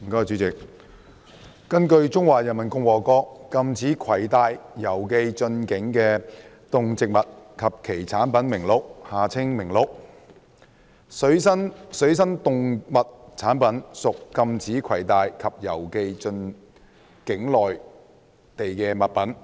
主席，根據《中華人民共和國禁止攜帶、郵寄進境的動植物及其產品名錄》，水生動物產品屬禁止攜帶或郵寄進境內地的物品。